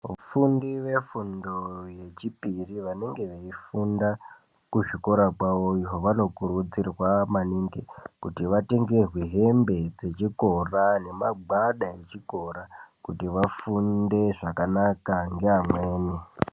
Vafundi vefundo yechipiri vanenge veifunda kuzvikora zvavoyo vanokurudzirwa maningi kuti Vatengerwe hembe dzechikora nemagwada echikora kuti vafunde zvakanaka neamweni.